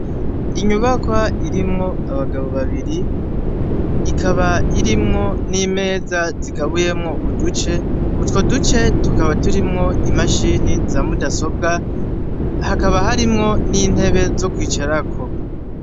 Inyubakwa irimwo abagabo babiri ikaba irimwo n'imeza zigabuyemwo uduce, utwo duce tukaba turimwo imashini za mudasobwa, hakaba harimwo n'intebe zo kwicarako.